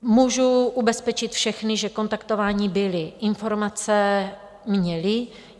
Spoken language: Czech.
Můžu ubezpečit všechny, že kontaktováni byli, informace měli.